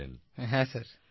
প্রদীপজি হ্যাঁ স্যার